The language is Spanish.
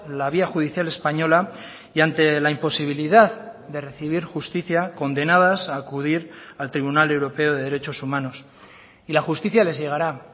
la vía judicial española y ante la imposibilidad de recibir justicia condenadas a acudir al tribunal europeo de derechos humanos y la justicia les llegará